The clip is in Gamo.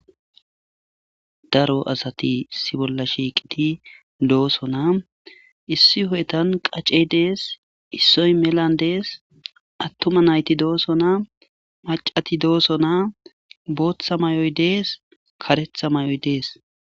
Daaro asati issi bolla shiqqidi dossona issi huphettan qaccey dessi issoy mellan dessi atuma nayti dossona maccati dossona boththa mayoyi dessi kareththa mayoyi dessi.